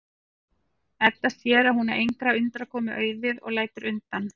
Edda sér að hún á engrar undankomu auðið og lætur undan.